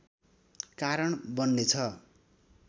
कारण बन्नेछ